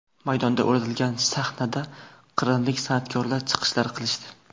Maydonda o‘rnatilgan sahnada qrimlik san’atkorlar chiqishlar qilishdi.